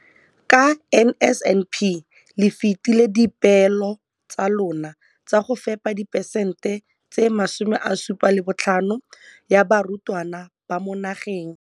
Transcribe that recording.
Ka NSNP le fetile dipeelo tsa lona tsa go fepa masome a supa le botlhano a diperesente ya barutwana ba mo nageng.